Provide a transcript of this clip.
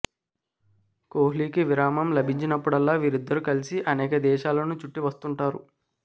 కోహ్లీకి విరామం లభించినప్పుడల్లా వీరిద్దరూ కలిసి అనేక దేశాలను చుట్టి వస్తుంటారు